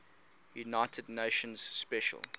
united nations special